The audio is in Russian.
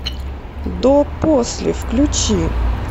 до после включи